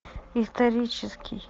исторический